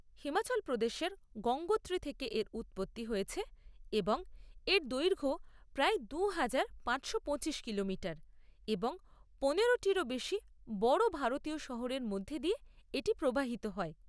হিমাচল প্রদেশের গঙ্গোত্রী থেকে এর উৎপত্তি হয়েছে এবং এর দৈর্ঘ্য প্রায় দুহাজার পাঁচশো পঁচিশ কিলোমিটার, এবং পনেরোটিরও বেশি বড় ভারতীয় শহরের মধ্য দিয়ে এটি প্রবাহিত হয়।